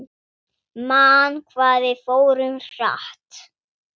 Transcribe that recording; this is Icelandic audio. Man hvað við fórum hratt.